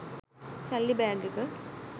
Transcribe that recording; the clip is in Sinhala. සල්ලි බෑග් එක.